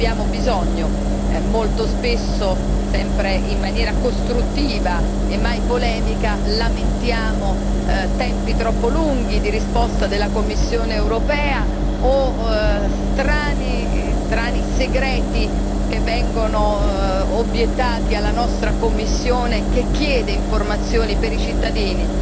Ne abbiamo bisogno, molto spesso sempre in maniera costruttiva e mai polemica lamentiamo tempi troppo lunghi di risposta della Commissione europea o strani segreti che vengono obiettati alla nostra commissione che chiede informazioni per i cittadini,